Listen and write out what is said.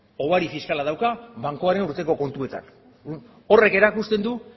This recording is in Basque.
hobari fiskala dauka bankuaren urteko kontuetan horrek erakusten du